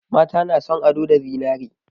Mata na son ado da zinare.